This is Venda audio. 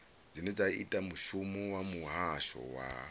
ita mushumo wa muhasho wa